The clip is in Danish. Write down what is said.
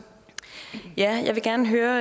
at